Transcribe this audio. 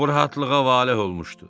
O rahatlığa valeh olmuşdu.